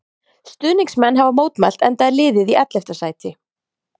Stuðningsmenn hafa mótmælt enda er liðið í ellefta sæti.